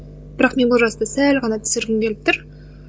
бірақ мен ол жасты сәл ғана түсіргім келіп тұр